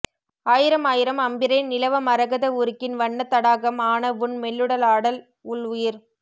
ஆயிரம் ஆயிரம் அம்பிறை நிலவமரகத உருக்கின் வண்ணத் தடாகம் ஆனஉன் மெல்லுடல் ஆடல் உள்உயிர்